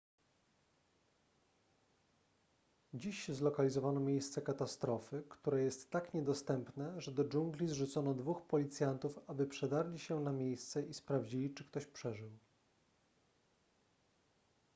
dziś zlokalizowano miejsce katastrofy które jest tak niedostępne że do dżungli zrzucono dwóch policjantów aby przedarli się na miejsce i sprawdzili czy ktoś przeżył